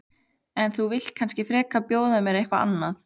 En þú vilt kannski frekar bjóða mér eitthvað annað?